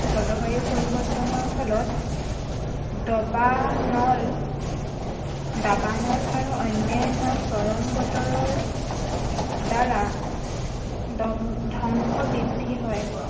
জলবায়ু পৰিৱৰ্তনৰ ফলত দবানল দাবানল আৰু অন্য়ান্য় চৰম বতৰৰ দ্বাৰা, ধ্বংস বৃদ্ধি হয়।